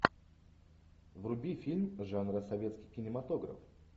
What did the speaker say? вруби фильм жанра советский кинематограф